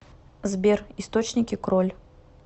сбер источники кроль